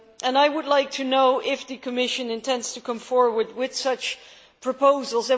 I would like to know if the Commission intends to come forward with such proposals.